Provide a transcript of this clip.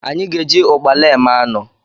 Anyị ga-eji ụkpala eme anụ.